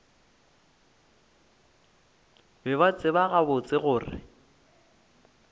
be ba tseba gabotse gore